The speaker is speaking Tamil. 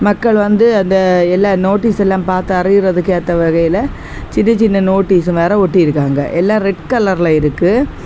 மக்கள் வந்து அந்த எல்லா நோட்டீஸ்ஸெல்லா பாத்து அறிகிறதுக்கு ஏத்தவகையில சின்ன சின்ன நோட்டீஸ்ம் வேற ஒட்டிருக்காங்க எல்லா ரெட் கலர்ல இருக்கு.